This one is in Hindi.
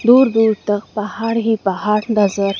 दूर दूर तक पहाड़ ही पहाड़ नजर--